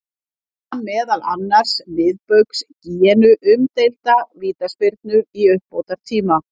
Gaf hann meðal annars Miðbaugs Gíneu umdeilda vítaspyrnu í uppbótartíma.